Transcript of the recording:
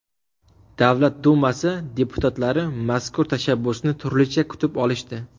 Davlat Dumasi deputatlari mazkur tashabbusni turlicha kutib olishdi.